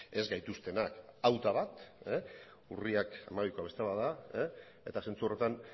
ez gaituztenak hau da bat urriak hamabikoa beste bat da eta zentzu horretan